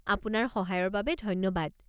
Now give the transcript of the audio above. আপোনাৰ সহায়ৰ বাবে ধন্যবাদ।